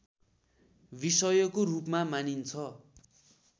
विषयको रूपमा मानिन्छ